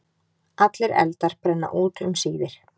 Allir eldar brenna út um síðir.